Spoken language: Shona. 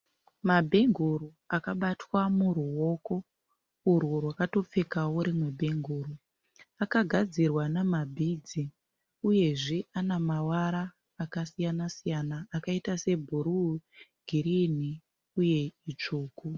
Mabhenguru akabatwa muruoko urwu rwakatopfekawo rimwe bhenguru. Aka gadzirwa nema bhidzi. Uyezve ane mavara akasiyana-siyana akaita sebhuru, girini uye itsvuku.